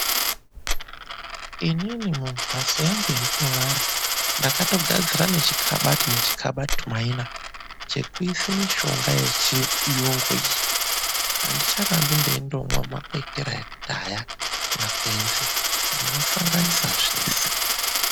ININIWO MHATSO YANGU YANDINORARA NDAKATOGADZIRA NECHIKABATU NECHIKABATU MAINA CHANGU CHEKUISA MUSHONGA YANGU YECHIYUNGU ANDICHARAMBI NDEIMWA MAKWETERA ANGU AKUDHAYA NDINOSANGANISA ZVESE